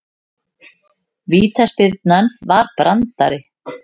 Vítaspyrnan var brandari